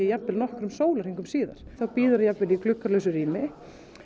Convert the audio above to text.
jafnvel nokkrum sólarhringum síðar þá bíður það jafnvel í gluggalausu rými